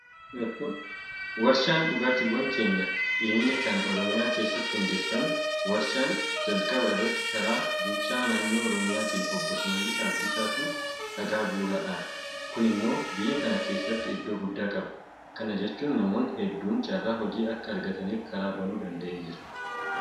Warshaan dhugaatiiwwan keenyaa dhiyeenya kana Oromiyaa keessatti hundeeffame. Warshaan jalqaba irratti karaa bulchaa naannoo Oromiyaatiin Obboo Shimallis Abdiisaatu dhagaa bu'uuraa dhaabe. Kun immoo biyya kana keessatti iddoo guddaa qaba. Kana jechuun namoonni hedduun carraa hojii akka argataniif karaa banuu danda'eera.